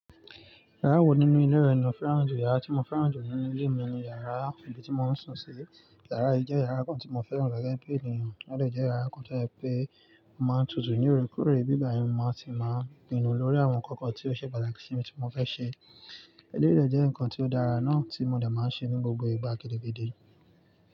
Yàrá wo nínú ilé rẹ ni ò fẹ́ràn jù? Yàrá tí mo fẹ́ràn jù nínú ilé mi ni yàrá ibi tí mo ń sùn sí. Yàrá yìí jẹ́ yàrá kan tí mo fẹ́ràn gẹ́gẹ́ bí ènìyàn, ó dẹ̀ jẹ́ yàrá kan tó jẹ pé màá n tutù ní òòrèkóòrè, bí bá yí ni mo máa ti máa pinu lórí àwọn ǹkan kan tí ó ṣe pàtàkì sí mi tí mo fẹ́ ṣe. Eleyìí jẹ́ ǹkan tí ó dára náà tí mo de máa ń ṣe ní gbogbo ìgbà gidi gidi.